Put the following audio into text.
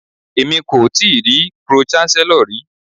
Èmi kò tíì rí pro-chancellor rí.